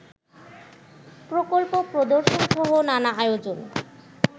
প্রকল্প প্রদর্শনসহ নানা আয়োজন